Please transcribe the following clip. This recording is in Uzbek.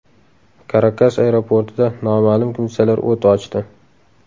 Karakas aeroportida noma’lum kimsalar o‘t ochdi.